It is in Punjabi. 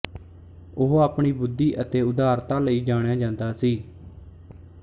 ਉਹ ਆਪਣੀ ਬੁੱਧੀ ਅਤੇ ਉਦਾਰਤਾ ਲਈ ਜਾਣਿਆ ਜਾਂਦਾ ਸੀ